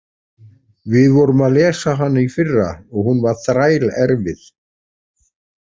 Við vorum að lesa hana í fyrra og hún var þrælerfið.